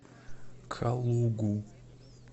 калугу